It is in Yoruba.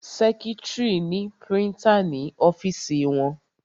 Sẹ́kítrì ni prítà ní ọ́fìsì wọn.